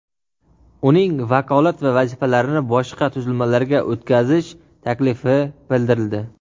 uning vakolat va vazifalarini boshqa tuzilmalarga o‘tkazish taklifi bildirildi.